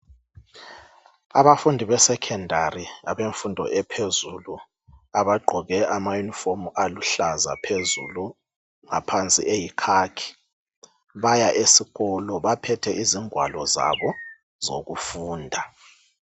Abafundi besecondary abemfundo ephezulu abagqoke amayunifomu aluhlaza phezulu ngaphansi eyikhakhi baya esikolo baphethe ingwalo zabo zokufunda.